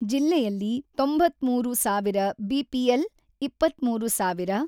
ಜಿಲ್ಲೆಯಲ್ಲಿ ತೊಂಬತ್ತ್ಮೂರು ಸಾವಿರ ಬಿಪಿಎಲ್, ಇಪ್ಪತ್ತ್ಮೂರು ಸಾವಿರ